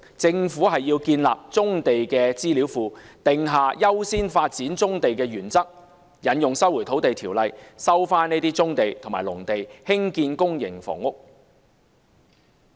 政府要建立棕地資料庫，訂下優先發展棕地的原則，引用《收回土地條例》收回棕地和農地，興建公營房屋。